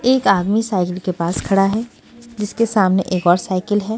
एक आदमी साइकिल के पास खड़ा है जिसके सामने एक और साइकिल है।